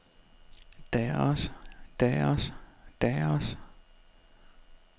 deres deres deres